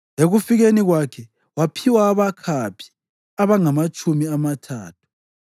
Ekufikeni kwakhe waphiwa abakhaphi abangamatshumi amathathu.